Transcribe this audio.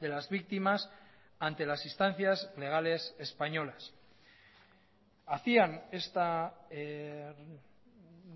de las víctimas ante las instancias legales españolas hacían esta